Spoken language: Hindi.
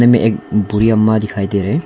में एक बुढ़ी अम्मा दिखाई दे रहे हैं।